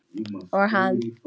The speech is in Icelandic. Og hann.